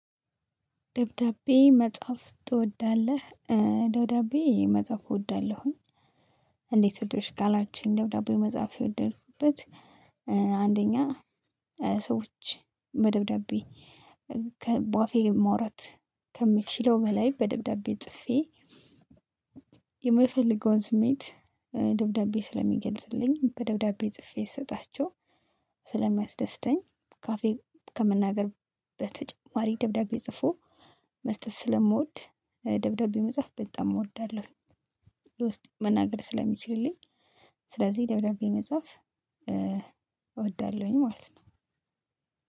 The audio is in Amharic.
ደብዳቤ መጻፍ ትወዳለህ? ደብዳቤ መጻፍ እወዳለሁኝ። እንዴት ወደድሽ ካላችሁኝ? ደብዳቤ መጻፍ የወደድኩበት አንደኛ ሰዎች በደብዳቤ ከ ባፌ ማውራት ከምችለው በላይ በደብዳቤ ጽፌ። የምፈልገውን ስሜት ደብዳቤ ስለሚገልጽልኝ በደብዳቤ ጽፌ ስሰጣቸው ስለማያስደስተኝ ካፌ ከመናገር በተጨማሪ ደብዳቤ ጽፎ መስጠት ስለምወድ ደብዳቤ መጻፍ በጣም እወዳለሁ። የ ውስጤን መናገር ስለሚችልልኝ ስለዚህ ደብዳቤ መጻፍ እወዳለሁኝ ማለት ነው።